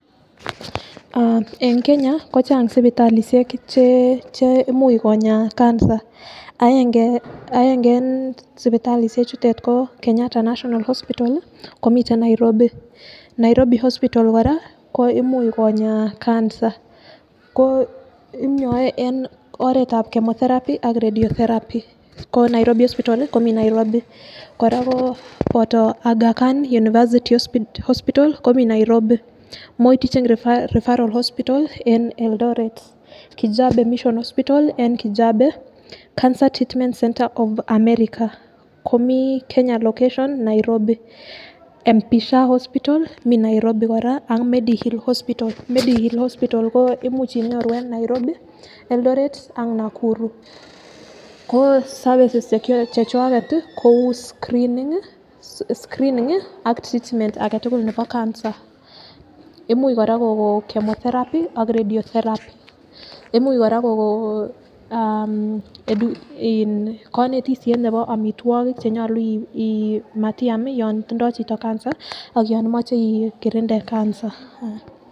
Ee en Kenya kochang' sipitalisiek chemuch konyaa cancer aenge en sipitalisichuto ko Kenyatta hospital komiten Nairobi, Nairobi hospital kora ko imuch konyaa cancer ko inyoe en oretab chemotherapy ak radiotherapy ko nairobi hospital komii nairobi, kora koo boto Achkan university hospital komii nairobi, Moi teaching referral hospital en Eldoret, Kijape mission hospital en kijape ,Cancer treatment centre of America komii kenya location of Nairobi, MPSHA hospital mii nairobi kora ak Medi hill hospital, Medi hill hospital imuch inyoru en Nairobi, Eldoret ak Nakuru ko services chechwaket kou screening ak treatment agetugul nepo cancer, imuch kora koko chemotherapy ak radiotherapy, imuch kora kokono aa mm konetisiet nebo amitwokik chenyolu iin matiam yon tindoo chito cancer ak yon imoche ikirindee cancer.